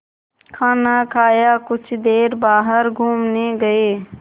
खाना खाया कुछ देर बाहर घूमने गए